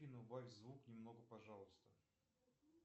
афина убавь звук немного пожалуйста